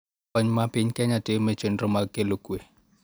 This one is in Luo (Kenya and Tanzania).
Kony ma piny Kenya timo e chenro mag kelo kwe